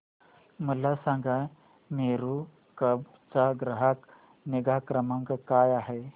मला सांगा मेरू कॅब चा ग्राहक निगा क्रमांक काय आहे